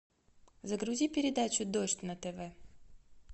загрузи передачу дождь на тв